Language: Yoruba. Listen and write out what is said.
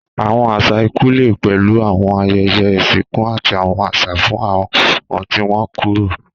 Àwọn àṣà ikú lè pẹ̀lú àwọn ayẹyẹ ìsìnkú àti àwọn àṣà fún àwọn tí wọ́n kúrò.